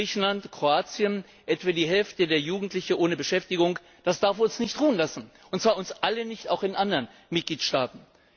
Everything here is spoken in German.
In Griechenland, Kroatien sind etwa die Hälfte der Jugendlichen ohne Beschäftigung. Das darf uns nicht ruhen lassen, und zwar uns alle nicht, auch in anderen Mitgliedstaaten.